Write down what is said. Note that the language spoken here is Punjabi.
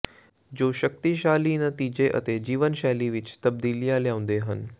ਜੋ ਸ਼ਕਤੀਸ਼ਾਲੀ ਨਤੀਜੇ ਅਤੇ ਜੀਵਨ ਸ਼ੈਲੀ ਵਿਚ ਤਬਦੀਲੀਆਂ ਲਿਆਉਂਦੇ ਹਨ